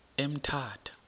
emthatha